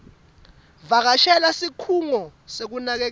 vakashela sikhungo sekunakekela